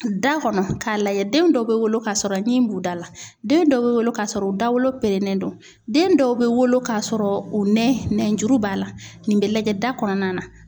Da kɔnɔ, k'a lajɛ den dɔw bɛ wolo k'a sɔrɔ ɲi b'u da la, den dɔw bɛ wolo k'a sɔrɔ u dawolo pɛrɛnɛn don ,den dɔw bɛ wolo k'a sɔrɔ u nɛn juru b'a la ,nin bɛ lajɛ da kɔnɔna na